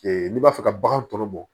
n'i b'a fɛ ka bagan tɔ bɔ